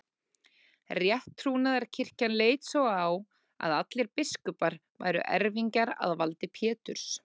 Rétttrúnaðarkirkjan leit svo á að allir biskupar væru erfingjar að valdi Péturs.